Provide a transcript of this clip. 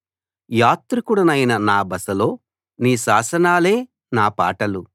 యాత్రికుడినైన నా బసలో నీ శాసనాలే నా పాటలు